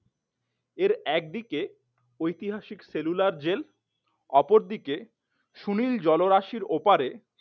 এর একদিকে ঐতিহাসিক সেলুলার জেল অপরদিকে সুনীল জলরাশির ওপারে